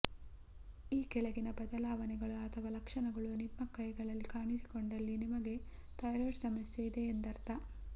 ಈ ಕೆಳಗಿನ ಬದಲಾವಣೆಗಳು ಅಥವಾ ಲಕ್ಷಣಗಳು ನಿಮ್ಮ ಕೈಗಳಲ್ಲಿ ಕಾಣಿಸಿಕೊಂಡಲ್ಲಿ ನಿಮಗೆ ಥೈರಾಯ್ಡ್ ಸಮಸ್ಯೆ ಇದೆ ಎಂದರ್ಥ